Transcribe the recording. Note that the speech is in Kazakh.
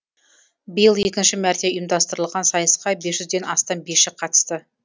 биыл екінші мәрте ұйымдастырылған сайысқа бес жүзден астам биші қатысты